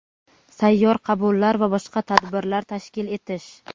sayyor qabullar va boshqa tadbirlar tashkil etish;.